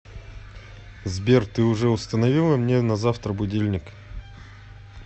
сбер ты уже установила мне на завтра будильник